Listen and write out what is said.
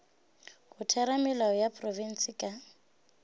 go theramelao ya profense ka